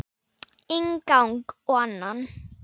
Inn gang og annan.